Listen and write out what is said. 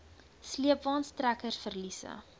sleepwaens trekkers verliese